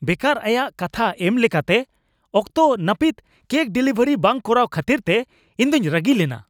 ᱵᱮᱠᱟᱨ ᱟᱭᱟᱜ ᱠᱟᱛᱷᱟ ᱮᱢ ᱞᱮᱠᱟᱛᱮ ᱚᱠᱛᱚ ᱱᱟᱹᱯᱤᱛ ᱠᱮᱠ ᱰᱮᱞᱤᱵᱷᱟᱨᱤ ᱵᱟᱝ ᱠᱚᱨᱟᱣ ᱠᱷᱟᱹᱛᱤᱨᱛᱮ ᱤᱧᱫᱩᱧ ᱨᱟᱹᱜᱤ ᱞᱮᱱᱟ ᱾